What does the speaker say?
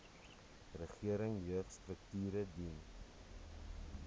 regering jeugstrukture dien